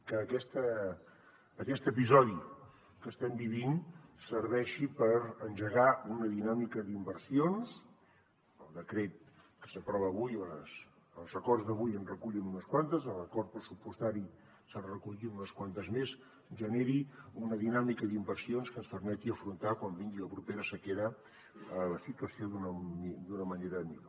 que aquest episodi que estem vivint serveixi per engegar una dinàmica d’inversions el decret que s’aprova avui els acords d’avui en recullen unes quantes a l’acord pressupostari se’n recollien unes quantes més que ens permeti afrontar quan vingui la propera sequera la situació d’una manera millor